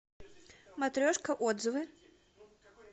матрешка отзывы